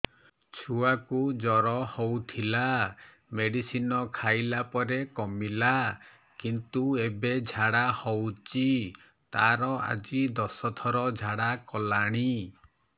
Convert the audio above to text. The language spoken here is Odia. ଛୁଆ କୁ ଜର ହଉଥିଲା ମେଡିସିନ ଖାଇଲା ପରେ କମିଲା କିନ୍ତୁ ଏବେ ଝାଡା ହଉଚି ତାର ଆଜି ଦଶ ଥର ଝାଡା କଲାଣି